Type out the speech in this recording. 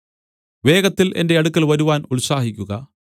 വേഗത്തിൽ എന്റെ അടുക്കൽ വരുവാൻ ഉത്സാഹിക്കുക